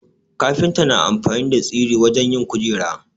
Kafinta na amfani da tsiri wajen yin kujera